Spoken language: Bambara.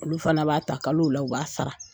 Olu fana b'a ta kalow la u b'a sara.